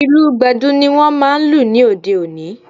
Ìlù Gbẹ̀du ni wọ́n máa lù ní òde òní